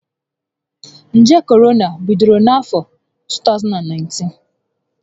Njé Korona bidoro na afọ 2019